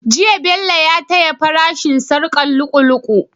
Jiya Bello ya taya fara shin sharkar lu'u lu'u